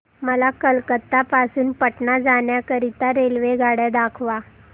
मला कोलकता पासून पटणा जाण्या करीता रेल्वेगाड्या दाखवा